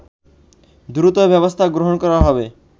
দ্রুত ব্যবস্থা গ্রহণ করা হবে